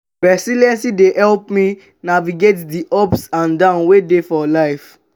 resilience dey help me navigate di ups and downs wey dey for life.